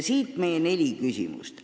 Siit tulevadki meie neli küsimust.